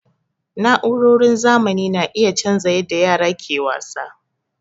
Na'urorin zamani na iya canza yadda yara ke wasa.